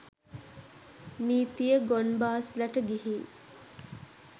නීතිය ගොන් බාස්ලට ගිහින්